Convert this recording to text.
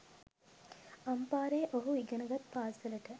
අම්පාරේ ඔහු ඉගෙන ගත් පාසලට